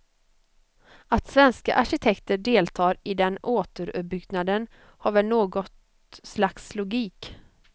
Att svenska arkitekter deltar i den återuppbyggnaden har väl något slags logik.